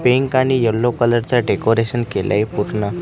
Pink आणि yellow colour चा decoration केलंय पूर्ण.